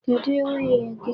Kedụ nwunye gị?